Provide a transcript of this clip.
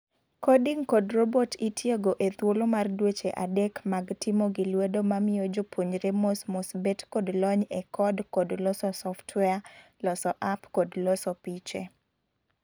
Coding kod robot itiego ethuolo mar dweche adek mag timo gilwedo mamiyo jopuonjre mosmos bet kod lony e code kod loso software ,loso App kod loso piche.